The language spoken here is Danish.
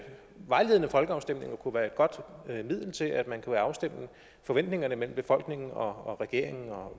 vejledende folkeafstemninger kunne være et godt middel til at afstemme forventningerne mellem befolkningen og regeringen og